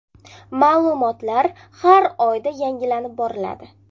Ma’lumotlar har oyda yangilanib boriladi.